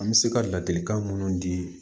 An bɛ se ka ladilikan minnu di